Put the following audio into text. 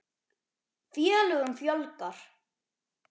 Félögum fjölgar